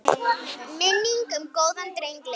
Minning um góðan dreng lifir.